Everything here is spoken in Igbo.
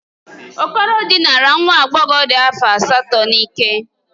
Okoro dinara nwa agbọghọ dị afọ asatọ n'ike.